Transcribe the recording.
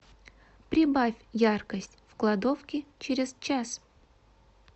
прибавь яркость в кладовке через час